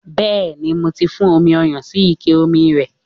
Bẹẹni, mó ti fún omi ọyàn sí ike omi rẹ̀.